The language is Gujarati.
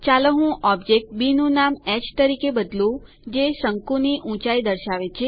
ચાલો હું ઓબ્જેક્ટ બી નું નામ હ તરીકે બદલું જે શંકુ ની ઊંચાઇ દર્શાવે છે